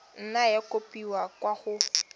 nna ya kopiwa kwa go